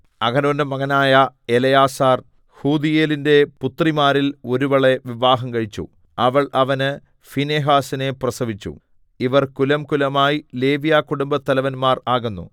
അഹരോന്റെ മകനായ എലെയാസാർ ഫൂതീയേലിന്റെ പുത്രിമാരിൽ ഒരുവളെ വിവാഹം കഴിച്ചു അവൾ അവന് ഫീനെഹാസിനെ പ്രസവിച്ചു ഇവർ കുലംകുലമായി ലേവ്യകുടുംബത്തലവന്മാർ ആകുന്നു